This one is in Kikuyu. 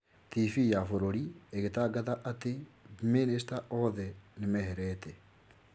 TV ya bũrũri ĩgĩtangatha atĩ minicita othe nĩ meherete.